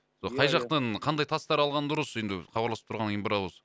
ия ия сол қай жақтан қандай тастар алған дұрыс енді хабарласып тұрғаннан кейін бір ауыз